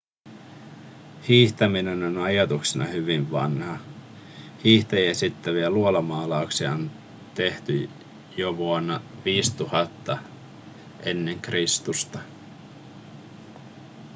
hiihtäminen on ajatuksena hyvin vanha hiihtäjiä esittäviä luolamaalauksia on tehty jo vuonna 5000 ekr